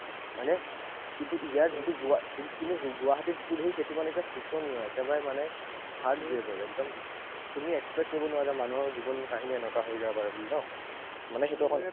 হয়নে? কিন্তু ইয়াত যিটো গুৱা কিন্তু গুৱাহাটীত যিটো দেখি সেইটো মানে একদম শোচনীয়। একেবাৰে মানে third grade ৰ। তুমি expect কৰিব নোৱাৰা যে মানুহৰ জীৱনকাহিনী এনেকুৱা হৈ যাব পাৰে বুলি ন? মানে